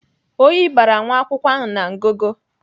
Oyi bara nwa akwụkwọ ahụ na ngụgụ.